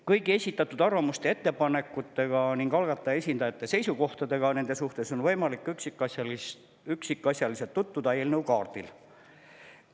Kõigi esitatud arvamuste ja ettepanekutega ning algataja esindajate seisukohtadega nende suhtes on võimalik üksikasjalikult tutvuda eelnõu kaardil.